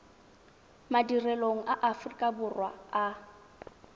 madirelong a aforika borwa a